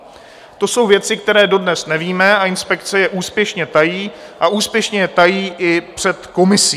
To jsou věci, které dodnes nevíme, a inspekce je úspěšně tají a úspěšně je tají i před komisí.